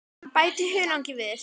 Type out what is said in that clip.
Bætið hunangi við.